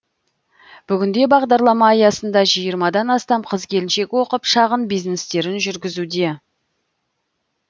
бүгінде бағдарлама аясында жиырмадан астам қыз келіншек оқып шағын бизнестерін жүргізуде